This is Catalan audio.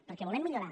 perquè volem millorar